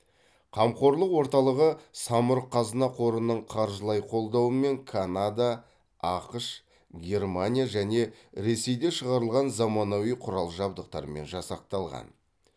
қамқорлық орталығы самұрық қазына қорының қаржылай қолдауымен канада ақш германия және ресейде шығарылған заманауи құрал жабдықтармен жасақталған